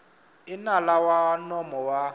i nala wa nomo wa